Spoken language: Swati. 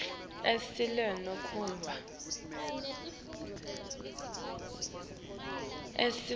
s sicelo senkhomba